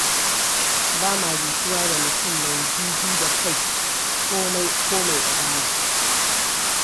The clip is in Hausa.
Ba ma jituwa da mutum mai ji ji da kai, ko mai ɗagawa.